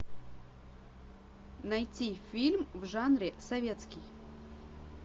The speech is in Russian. найти фильм в жанре советский